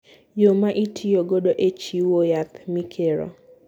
Yo ma itiyo godo e chiwo yath mikiro.